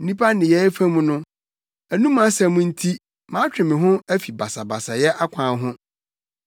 Nnipa nneyɛe fam no, anom asɛm nti matwe me ho afi basabasayɛfo akwan ho.